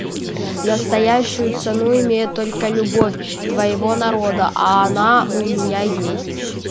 настоящую цену имеет только любовь твоего народа а она у меня есть